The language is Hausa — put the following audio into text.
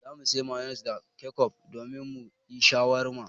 Za mu sayi mayonis da kecof domin mu yi shawarma.